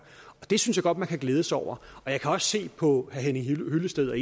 det synes jeg godt man kan glæde sig over og jeg kan også se på herre henning hyllested at